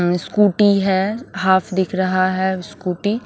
अ scooty है half दिख रहा है स्कूटी ।